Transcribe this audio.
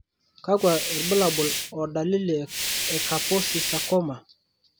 kakwa irbulabol o dalili e Kaposi sarcoma?